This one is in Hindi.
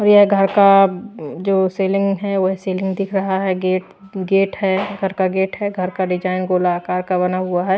और यह घर का जो सीलिंग है वह सीलिंग दिख रहा है गेट गेट है घर का गेट है घर का डिजाइन गोलाकार का बना हुआ है।